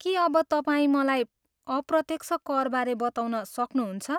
के अब तपाईँ मलाई अप्रत्यक्ष करबारे बताउन सक्नुहुन्छ?